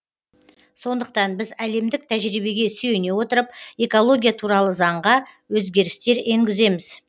сондықтан біз әлемдік тәжірибеге сүйене отырып экология туралы заңға өзгерістер енгіземіз